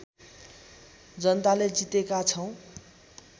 जनताले जितेका छौँ